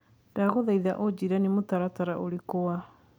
ndagũthaitha ũjĩire nĩ mũtaratara ũrĩkũ wa